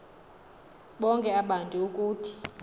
bonke abantu ukuthi